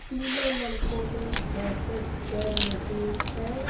तीनों लड़कों ने जैकेट्स पहन रखे है।